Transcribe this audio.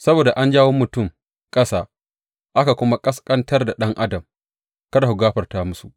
Saboda an jawo mutum ƙasa aka kuma ƙasƙantar da ɗan adam, kada ku gafarta musu.